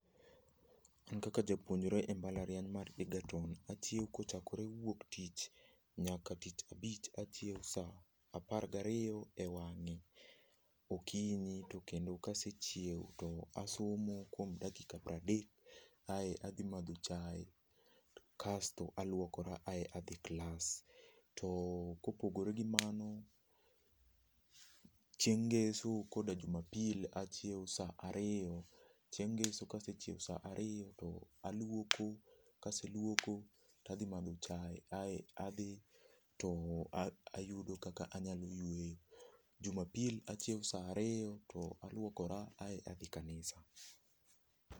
An kaka japuonjre e mbalariany mar Egerton achieo kochakre wuok tich nyaka tichabich achieo saa apar gario e wang'e okinyi to kendo kasechieo to asomo kwom dakika pradek aeto adhi madho chae kasto alwokora ae adhi klas. To kopogore gi mano, chieng' ngeso koda jumapil achieo saa ario. Chieng' ngeso kasechieo saa ario to aluoko, kaseluoko tadhi madho chae ae adhi to a ayudo kaka anyalo yweyo. Jumapil achieo saa ario to alwokora ae adhi kanisa.